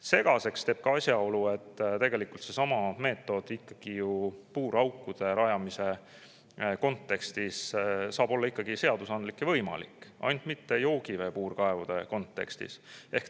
Segaseks teeb selle ka asjaolu, et seesama meetod ikkagi ju puuraukude rajamise kontekstis saab olla seaduslik ja võimalik, ainult mitte joogivee puurkaevude kontekstis.